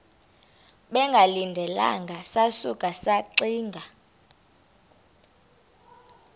bengalindelanga sasuka saxinga